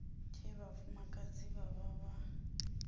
tshe vhafumakadzi vha vha vha